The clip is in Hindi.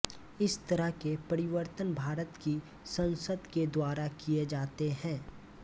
इस तरह के परिवर्तन भारत की संसद के द्वारा किये जाते हैं